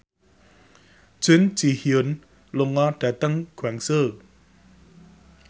Jun Ji Hyun lunga dhateng Guangzhou